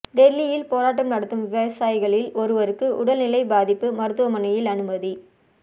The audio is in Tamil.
டெல்லியில் போராட்டம் நடத்தும் விவசாயிகளில் ஒருவருக்கு உடல்நிலை பாதிப்பு மருத்துவமனையில் அனுமதி